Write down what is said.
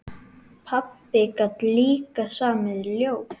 Pabbi gat líka samið ljóð.